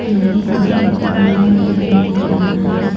लोहे का एक खंबा दिखाई दे रहा है।